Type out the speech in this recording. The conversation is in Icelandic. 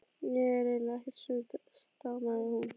Ég er eiginlega ekkert svöng stamaði hún.